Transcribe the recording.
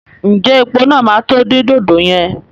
Ǹjẹ́ epo náà máa tó di dòdò yẹn?